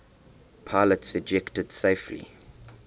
pilots ejected safely